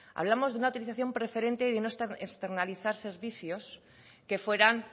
hablamos de una utilización preferente de no externalizar servicios que fueran